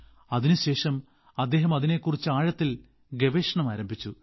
അതിനുശേഷം അദ്ദേഹം അതിനെക്കുറിച്ച് ആഴത്തിൽ ഗവേഷണം ആരംഭിച്ചു